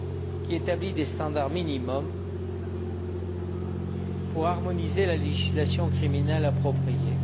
qui établit des standards minimums pour harmoniser la législation criminelle appropriée.